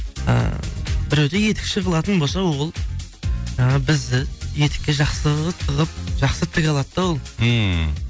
ы біреуді етікші қылатын болса ол ыыы бізді етікке жақсы тығып жақсы тіге алады да ол ммм